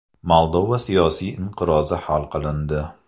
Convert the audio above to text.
Moldova siyosiy inqirozi hal qilindi.